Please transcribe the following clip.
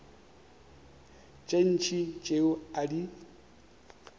tše ntši tšeo a di